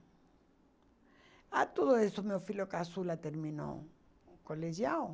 Ah, tudo isso meu filho Caçula terminou o colegial.